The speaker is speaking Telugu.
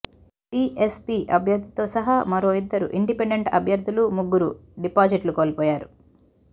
బిఎస్పీ అభ్యర్థితో సహా మరో ఇద్దరు ఇండిపెండెంట్ అభ్యర్థులు ముగ్గురు డిపాజిట్లు కోల్పోయారు